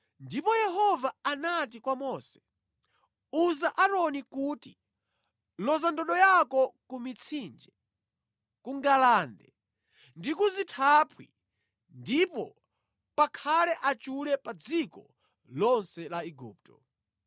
Ndipo Yehova anati kwa Mose, “Uza Aaroni kuti, ‘Loza ndodo yako ku mitsinje, ku ngalande ndi ku zithaphwi ndipo pakhale achule pa dziko lonse la Igupto.’ ”